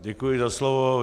Děkuji za slovo.